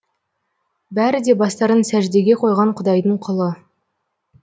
бәрі де бастарын сәждеге қойған құдайдың құлы